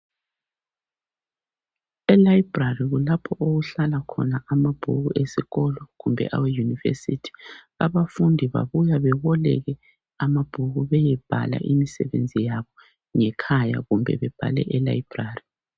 Elibrary kulapho okuhlala khona amabhuku esikolo kumbe aweYunivesithi abafundi babuya beboleke amabhuku beyebhala imisebenzi yabo ngekhaya kumbe bebhale elibrary.